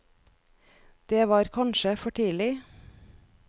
Det var kanskje for tidlig.